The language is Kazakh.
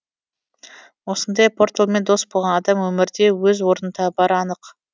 осындай порталмен дос болған адам өмірде өз орнын табары анық